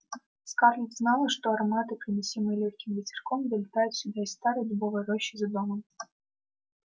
скарлетт знала что ароматы приносимые лёгким ветерком долетают сюда из старой дубовой рощи за домом